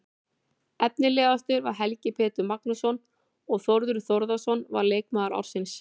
Efnilegastur var Helgi Pétur Magnússon og Þórður Þórðarson var leikmaður ársins.